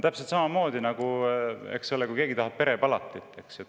Täpselt samamoodi on, kui keegi tahab perepalatit.